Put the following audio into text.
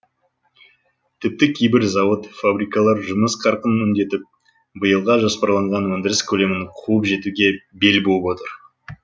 тіпті кейбір зауыт фабрикалар жұмыс қарқынын үдетіп биылға жоспарланған өндіріс көлемін қуып жетуге бел буып отыр